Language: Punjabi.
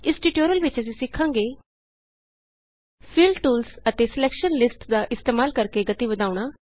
ਇਸ ਟਿਯੂਟੋਰਿਅਲ ਵਿਚ ਅਸੀਂ ਸਿਖਾਂਗੇ ਫਿਲ ਟੂਲਸ ਅਤੇ ਸਲੈਕਸ਼ਨ ਲਿਸਟਸ ਦਾ ਇਸਤੇਮਾਲ ਕਰਕੇ ਗਤੀ ਵਧਾਉਣਾ